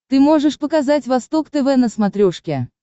ты можешь показать восток тв на смотрешке